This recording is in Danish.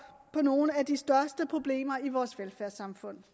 på nogle af de største problemer i vores velfærdssamfund